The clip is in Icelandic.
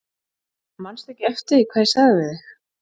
Manstu ekki eftir því hvað ég sagði við þig?